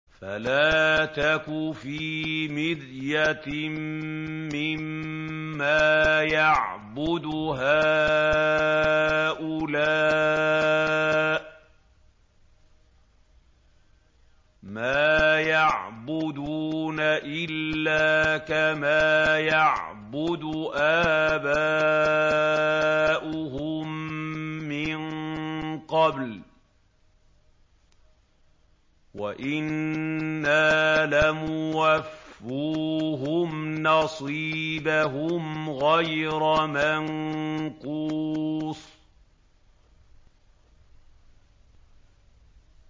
فَلَا تَكُ فِي مِرْيَةٍ مِّمَّا يَعْبُدُ هَٰؤُلَاءِ ۚ مَا يَعْبُدُونَ إِلَّا كَمَا يَعْبُدُ آبَاؤُهُم مِّن قَبْلُ ۚ وَإِنَّا لَمُوَفُّوهُمْ نَصِيبَهُمْ غَيْرَ مَنقُوصٍ